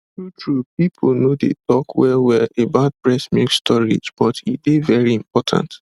truetrue people no dey talk wellwell about breast milk storage but e dey very important